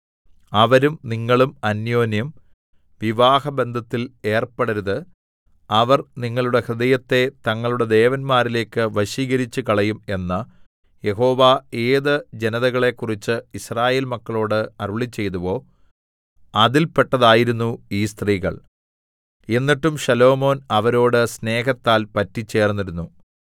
അവരും നിങ്ങളും അന്യോന്യം വിവാഹബന്ധത്തിൽ ഏർപ്പെടരുത് അവർ നിങ്ങളുടെ ഹൃദയത്തെ തങ്ങളുടെ ദേവന്മാരിലേക്ക് വശീകരിച്ചുകളയും എന്ന് യഹോവ ഏത് ജനതകളെക്കുറിച്ച് യിസ്രായേൽ മക്കളോട് അരുളിച്ചെയ്തുവോ അതിൽപ്പെട്ടതായിരുന്നു ഈ സ്ത്രീകൾ എന്നിട്ടും ശലോമോൻ അവരോട് സ്നേഹത്താൽ പറ്റിച്ചേർന്നിരുന്നു